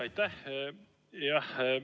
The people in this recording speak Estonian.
Aitäh!